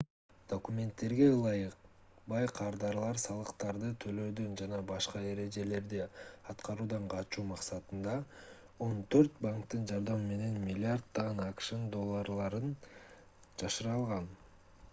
документтерге ылайык бай кардарлар салыктарды төлөөдөн жана башка эрежелерди аткаруудан качуу максатында он төрт банктын жардамы менен миллиарддаган акш долларын жашыра алган